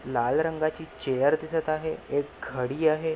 लाल रंगाची चेअर दिसत आहे एक घडी आहे.